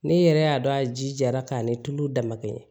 Ne yɛrɛ y'a dɔn a ji jara k'a ni tulu damakɛ